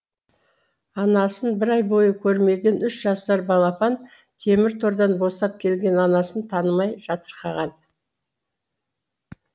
анасын бір ай бойы көрмеген үш жасар балапан темір тордан босап келген анасын танымай жатырқаған